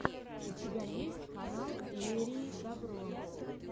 у тебя есть канал лерии добро